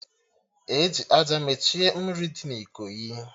Eji àjà mechie mmiri dị na Ikoyi